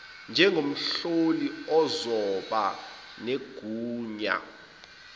njengomhloli ozoba negunya